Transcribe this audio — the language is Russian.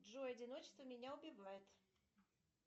джой одиночество меня убивает